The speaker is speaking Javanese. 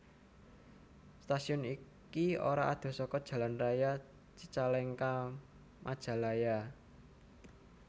Stasiun iki ora adoh saka jalan raya Cicalengka Majalaya